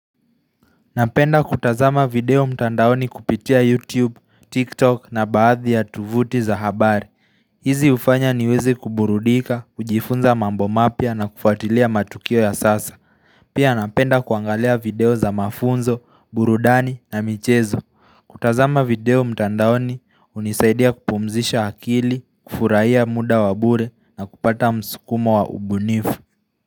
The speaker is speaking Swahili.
Napenda kutazama video mtandaoni kupitia YouTube, TikTok na baadhi ya tovuti za habari. Hizi hufanya niweze kuburudika, kujifunza mambo mapya na kufuatilia matukio ya sasa Pia napenda kuangalia video za mafunzo, burudani na michezo kutazama video mtandaoni hunisaidia kupumzisha akili, kufurahia muda wa bure na kupata msukumo wa ubunifu.